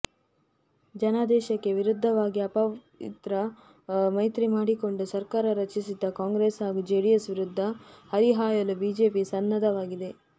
ಜನಾದೇಶಕ್ಕೆ ವಿರುದ್ಧವಾಗಿ ಅಪವಿತ್ರ ಮೈತ್ರಿ ಮಾಡಿಕೊಂಡು ಸರ್ಕಾರ ರಚಿಸಿದ್ದ ಕಾಂಗ್ರೆಸ್ ಹಾಗೂ ಜೆಡಿಎಸ್ ವಿರುದ್ಧ ಹರಿಹಾಯಲು ಬಿಜೆಪಿ ಸನ್ನದ್ಧವಾಗಿದೆ